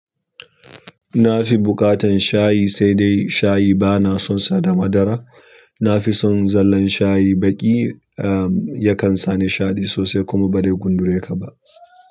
Nafi buƙatan shayi, sai dai shayi bana sonsa da madara na fi son zallan shayi baƙi, ah yakan sa ni shaɗi sosai kuma ba zai gundure kaba.